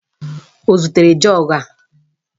O zutere jọọgụ a